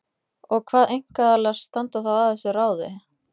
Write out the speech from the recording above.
Og hvað einkaaðilar standa þá að þessu ráði?